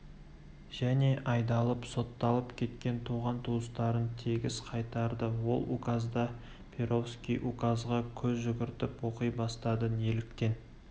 және айдалып сотталып кеткен туған-туыстарын тегіс қайтарды ол указда перовский указға көз жүгіртіп оқи бастады неліктен